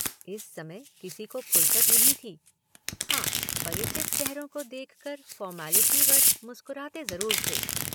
इस समय किसी को फ़ुर्सत नहीं थी। हाँ परिचित चेहरों को देखकर फ़ॉर्मैलिटीवश मुस्कराते जरूर थे।